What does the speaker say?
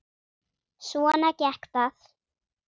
Svona gekk það.